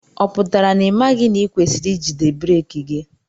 Ọ pụtara na imaghi na ikwesiri ijide breeki gị?